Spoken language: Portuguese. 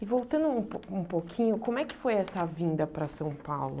E voltando um pou um pouquinho, como é que foi essa vinda para São Paulo?